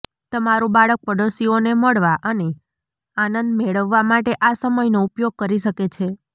તમારું બાળક પડોશીઓને મળવા અને આનંદ મેળવવા માટે આ સમયનો ઉપયોગ કરી શકે છે